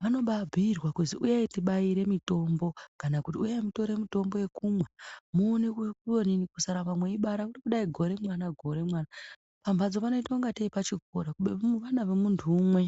,vanobaabhuyirwa kuzi uyai tibaire mitombo kana kuti uyai mutore mutombo ekumwa muone kuonini kusarambe meibara kudai gore mwana gore mwana, pamhatso panoita kungatei pachikora kubeni ana emunhu umwe.